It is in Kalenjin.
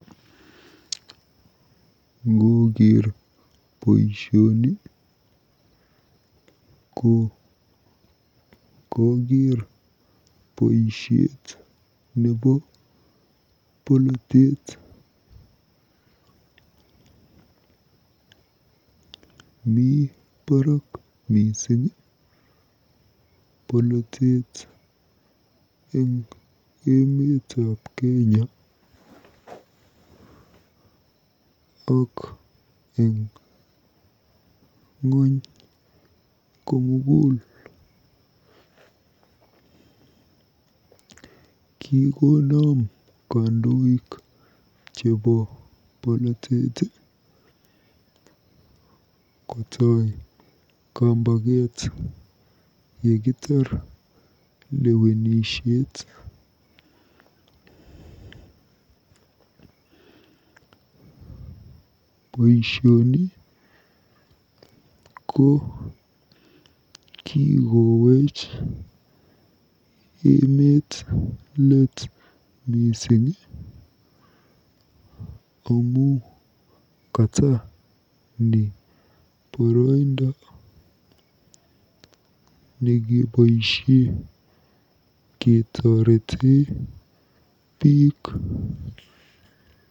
Ngooker boisioni ko kokeer boisiet nebo polotet. Mi barak mising polotet eng emetab Kenya ak eng ng'ony komugul. Kikonam kandoik ncheebo polptet kotoi kambaket yekitar lwewenisiet. BOisioni ko kikoweech emet let mising amu kata ni boroindo nekeboisie ketoretee biik.